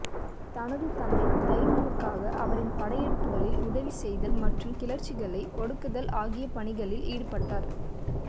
தனது தந்தை தைமூருக்காக அவரின் படையெடுப்புகளில் உதவி செய்தல் மற்றும் கிளர்ச்சிகளை ஒடுக்குதல் ஆகிய பணிகளில் ஈடுபட்டார்